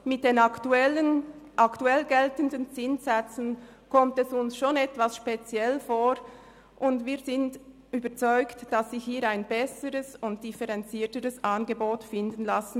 Bei den aktuell geltenden Zinssätzen kommt uns dies schon etwas speziell vor, und wir sind überzeugt, dass sich hier ein besseres und differenzierteres Angebot finden liesse.